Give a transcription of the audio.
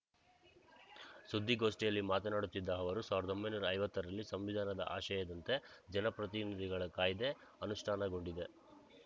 ಸುದ್ಧಿಗೋಷ್ಠಿಯಲ್ಲಿ ಮಾತನಾಡುತ್ತಿದ್ದ ಅವರು ಸಾವಿರದ ಒಂಬೈನೂರ ಐವತ್ತರಲ್ಲಿ ಸಂವಿಧಾನದ ಆಶಯದಂತೆ ಜನಪ್ರತಿನಿಧಿಗಳ ಕಾಯ್ದೆ ಅನುಷ್ಠಾನಗೊಂಡಿದೆ